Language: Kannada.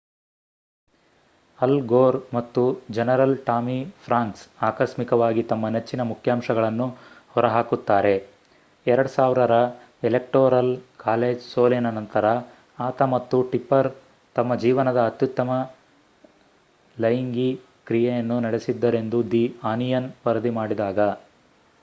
ಅಲ್ ಗೋರ್ ಮತ್ತು ಜನರಲ್ ಟಾಮಿ ಫ್ರಾಂಕ್ಸ್ ಆಕಸ್ಮಿಕವಾಗಿ ತಮ್ಮ ನೆಚ್ಚಿನ ಮುಖ್ಯಾಂಶಗಳನ್ನು ಹೊರಹಾಕುತ್ತಾರೆ 2000 ರ ಎಲೆಕ್ಟೋರಲ್ ಕಾಲೇಜ್ ಸೋಲಿನ ನಂತರ ಆತ ಮತ್ತು ಟಿಪ್ಪರ್ ತಮ್ಮ ಜೀವನದ ಅತ್ಯುತ್ತಮ ಲೈಂಗಿ ಕ್ರಿಯೆ ನಡೆಸಿದ್ದರೆಂದು ದಿ ಆನಿಯನ್ ವರದಿ ಮಾಡಿದಾಗ